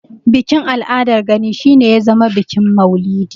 Bikin al'adar Gani shi ne ya zama bikin maulidi.